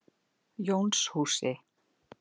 Jónshúsi